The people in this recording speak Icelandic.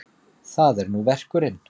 Það er nú verkurinn.